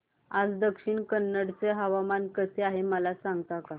आज दक्षिण कन्नड चे हवामान कसे आहे मला सांगता का